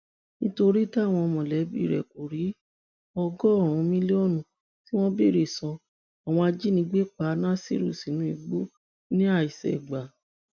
nítorí táwọn mọlẹbí rẹ kò rí ọgọrùnún mílíọnù tí wọn béèrè san àwọn ajínigbé pa nasiru sínú igbó ní àìṣègbà